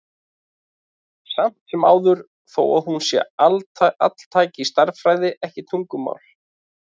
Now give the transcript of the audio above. Samt sem áður, þó að hún sé altæk, er stærðfræðin ekki tungumál.